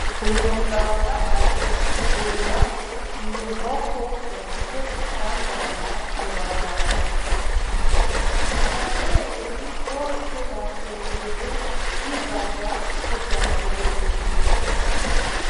Uyu muganga aje kuvura iyi nkoko yagize isanganya kwi barabara. Abavyeyi bose bashengereye bibaza uko vyagenze.